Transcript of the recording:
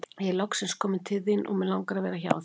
Ég er loksins kominn til þín og mig langar að vera hjá þér.